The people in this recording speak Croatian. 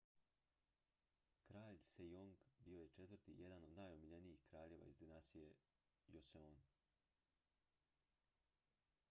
kralj sejong bio je četvrti i jedan od najomiljenijih kraljeva iz dinastije joseon